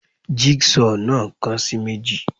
Jig saw náà kan sì meji